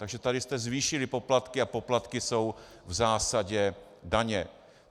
Takže tady jste zvýšili poplatky a poplatky jsou v zásadě daně.